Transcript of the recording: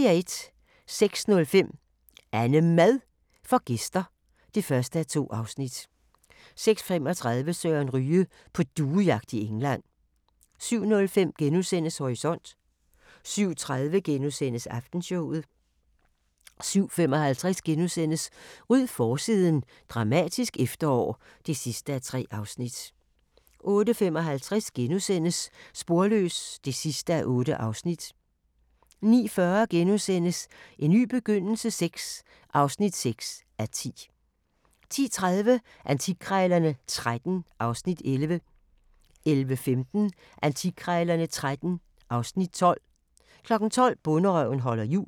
06:05: AnneMad får gæster (1:2) 06:35: Søren Ryge: På duejagt i England 07:05: Horisont * 07:30: Aftenshowet * 07:55: Ryd forsiden – dramatisk efterår (3:3)* 08:55: Sporløs (8:8)* 09:40: En ny begyndelse VI (6:10)* 10:30: Antikkrejlerne XIII (Afs. 11) 11:15: Antikkrejlerne XIII (Afs. 12) 12:00: Bonderøven holder jul